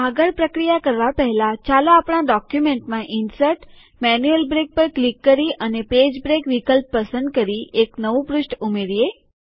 આગળ પ્રક્રિયા કરવા પહેલાં ચાલો આપણા ડોક્યુમેન્ટમાં ઇનસર્ટ જીટીજીટી મેન્યુઅલ બ્રેક પર ક્લિક કરી અને પેજ બ્રેક વિકલ્પ પસંદ કરી એક નવું પૃષ્ઠ ઉમેરીએ